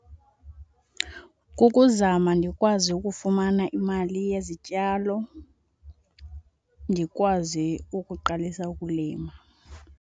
Kukuzama ndikwazi ukufumana imali yezityalo ndikwazi ukuqalisa ukulima.